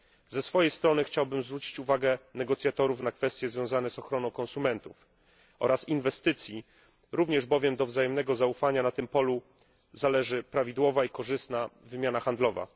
Ze swojej strony chciałbym zwrócić uwagę negocjatorów na kwestie związane z ochroną konsumentów oraz inwestycji, również bowiem od wzajemnego zaufania na tym polu zależy prawidłowa i korzystna wymiana handlowa.